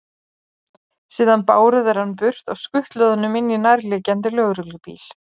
Síðan báru þeir hann burt og skutluðu honum inn í nærliggjandi lögreglubíl.